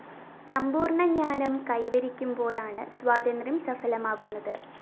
സമ്പൂര്‍ണ്ണ ജ്ഞാനം കൈവരിക്കുമ്പോഴാണ് സ്വാതന്ത്ര്യം സഫലമാകുന്നത്